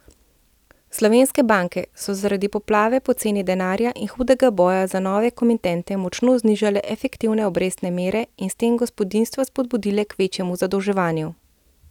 Slovenske banke so zaradi poplave poceni denarja in hudega boja za nove komitente močno znižale efektivne obrestne mere in s tem gospodinjstva spodbudile k večjemu zadolževanju.